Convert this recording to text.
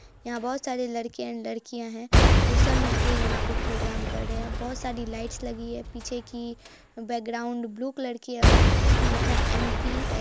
यहाँ बहुत सारे लड़के एंड लड़कियाँ है वो सब यहाँ मिल के प्रोग्राम कर रहे हैं| बहुत सारे लाइट लगी हुई है पीछे की बैकग्राउंड ब्लू कलर की है| उसमें लिखा है एम पी --